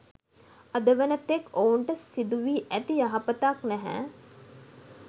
අද වන තෙක් ඔවුන්ට සිදු වී ඇති යහපතක් නැහැ.